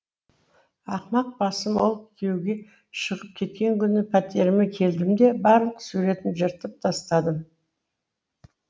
ақымақ басым ол күйеуге шығып кеткен күні пәтеріме келдім де барлық суретін жыртып тастадым